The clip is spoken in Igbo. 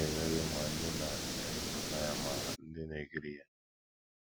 Ọ na - emerụ ma ndị na - emepụta ya ma ndị na - ekiri ya.